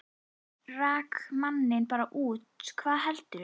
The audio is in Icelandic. Rak manninn bara út, hvað heldurðu!